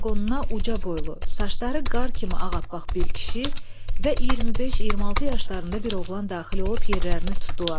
Qatarın vaqonuna uca boylu, saçları qar kimi ağappaq bir kişi və 25-26 yaşlarında bir oğlan daxil olub yerlərini tutdular.